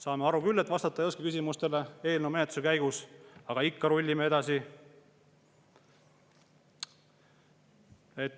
Saame aru küll, et eelnõu menetluse käigus küsimustele vastata ei oska, aga ikka rullime edasi.